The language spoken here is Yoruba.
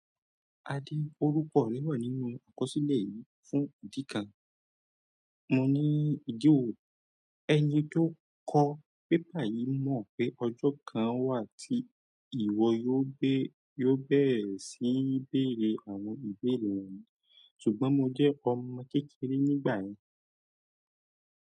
Orúkọ mi wa nínú àkọsílẹ̀ yìí fún ìdí kan. Mo ní ìdí wo, ẹni tó kọ paper yìí mọ̀ pé ọjọ́ kan wà tí ìwọ yóò yóò bẹ̀rẹ̀ síní bèrè àwọn ìbéèrè wọ̀nyí, ṣùgbọ́n mo jẹ́ ọmọ kékeré nígbà yẹn.